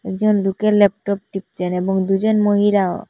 একজন লুকে ল্যাপটপ টিপচেন এবং দুজন মহিলাও।